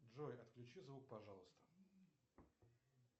джой отключи звук пожалуйста